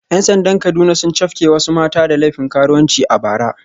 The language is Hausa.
‘Yan sandan Kaduna sun cafke wasu mata da laifin karuwanci a bara